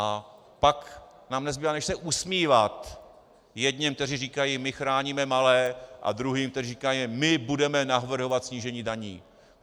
A pak nám nezbývá než se usmívat jedněm, kteří říkají: my chráníme malé, a druhým, kteří říkají: my budeme navrhovat snížení daní.